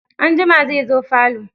Anjima zai zo falo.